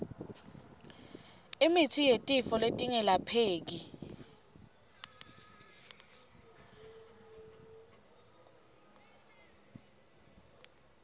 imitsi yetifo letingelapheki